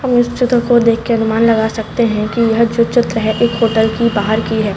हम इस चित्र को देख के अनुमान लगा सकते है कि यह जो चित्र है एक होटल की बाहर की है।